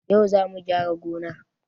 Yau zamu gyara gonan